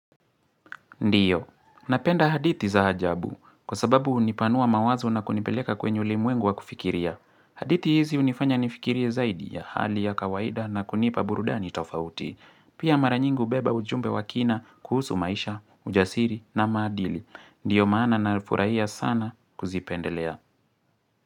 Ndio, napenda hadithi za ajabu kwa sababu hunipanua mawazo na kunipeleka kwenye ulmwengu wa kufikiria. Hadithi hizi unifanya nifikirie zaidi ya hali ya kawaida na kunipa burudani tofauti. Pia maranyingi hubeba ujumbe wakina kuhusu maisha, ujasiri na maadili. Ndio maana na nalifurahia sana kuzipendelea.